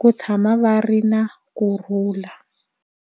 ku tshama va ri na kurhula.